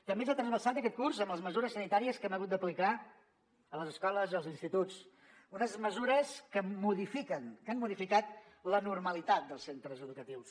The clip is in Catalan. també ens ha trasbalsat aquest curs amb les mesures sanitàries que hem hagut d’aplicar a les escoles i als instituts unes mesures que modifiquen que han modificat la normalitat dels centres educatius